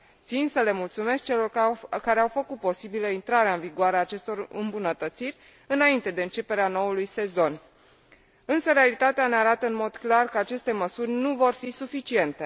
Țin să le mulțumesc celor care au făcut posibilă intrarea în vigoare a acestor îmbunătățiri înainte de începerea noului sezon, însă realitatea ne arată în mod clar că aceste măsuri nu vor fi suficiente.